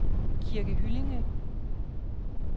Kirke Hyllinge